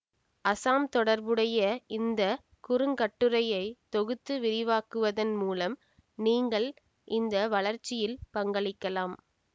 அசாம் தொடர்புடைய இந்த குறுங்கட்டுரையை தொகுத்து விரிவாக்குவதன் மூலம் நீங்களும் இதன் வளர்ச்சியில் பங்களிக்கலாம்